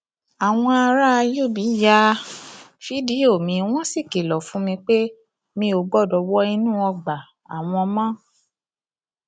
àwọn ará ùb ya um fídíò mi wọn sì kìlọ fún mi pé mi ò gbọdọ wọ inú ọgbà um àwọn mọ